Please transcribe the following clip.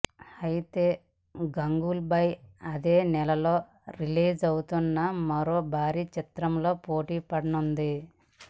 అయితే గంగూభాయ్ అదే నెలలో రిలీజ్ అవుతున్న మరో భారీ చిత్రంతో పోటీపడనుంది